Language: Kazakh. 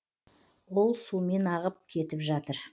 ол сумен ағып кетіп жатыр